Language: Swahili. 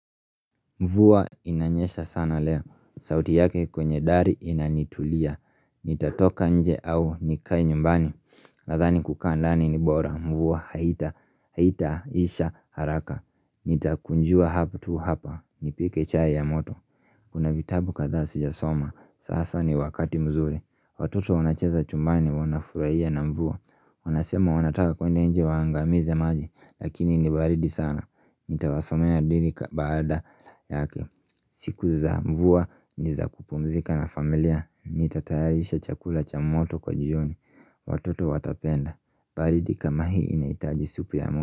Mvua inanyesha sana leo, sauti yake kwenye dari inanitulia, nitatoka nje au nikae nyumbani, nadhani kukaa ndani ni bora, mvua haitaisha haraka, nitakunjua hapo tu hapa, nipike chai ya moto Kuna vitabu kadhaa sijasoma, sasa ni wakati mzuri, watoto wanacheza chumbani wanafurahia na mvua Wanasema wanataka kwenda nje waangamize maji, lakini ni baridi sana, nitawasomea dili baada yake siku za mvua, ni za kupumzika na familia, nitatayarisha chakula cha moto kwa jioni, watoto watapenda. Baridi kama hii inahitaji supu ya.